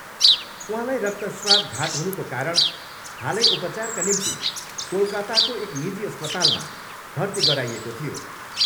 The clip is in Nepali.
उहाँलाई रक्तश्राव घात हुनुको कारण हालै उपचारका निम्ति कोलकाताको एक निजी अस्पतालमा भर्ती गराइएको थियो।